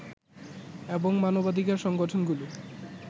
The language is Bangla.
এবং মানবাধিকার সংগঠনগুলো